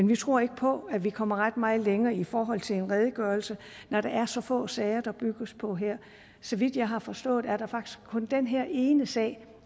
vi tror ikke på at vi kommer ret meget længere i forhold til en redegørelse når det er så få sager der bygges på her så vidt jeg har forstået er der faktisk kun den her ene sag